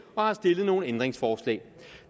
og har stillet nogle ændringsforslag